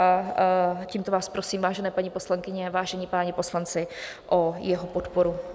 A tímto vás prosím, vážené paní poslankyně, vážení páni poslanci, o jeho podporu.